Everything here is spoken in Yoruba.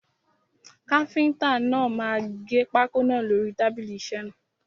Káfíntà náà máa gẹ pákó náà lórí tábìlì isẹ́ náà.